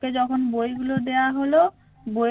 ওকে যখন বইগুলো দেয়া হলো বইয়ের